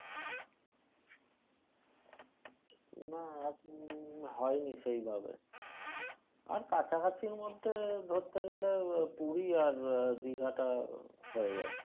না উম হয়নি সেইভাবে আর কাছাকাছি মধ্যে ধরতে গেলে পুরি আর দিঘাটা হয়ে যায়।